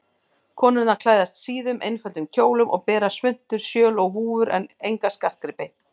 Konurnar klæðast síðum, einföldum kjólum og bera svuntur, sjöl og húfur en enga skartgripi.